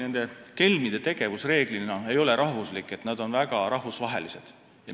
Vaadake, kelmide tegevus ei piirdu enamasti ühe riigiga, vaid on väga rahvusvaheline.